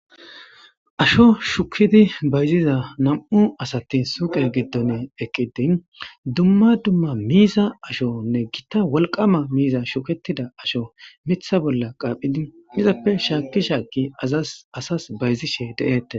Asho shukidi bayziza nam'u asatin suuqe giddon eqqidi dumma dumma miiza ashonne gitta wolqama miiza shuketida asho mitha bolla qaaphidi izappe shaakki shaaki asas bayzishe de'eette.